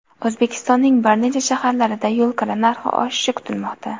O‘zbekistonning bir necha shaharlarida yo‘l kira narxi oshishi kutilmoqda .